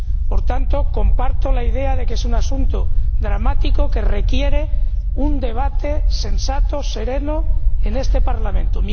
Por tanto, comparto la idea de que es un asunto dramático, que requiere un debate sensato, sereno, en este Parlamento.